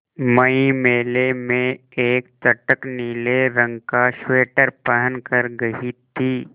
मैं मेले में एक चटख नीले रंग का स्वेटर पहन कर गयी थी